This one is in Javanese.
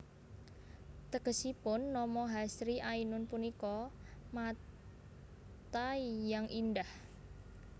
Tegesipun nama Hasri Ainun punika Mata yang indah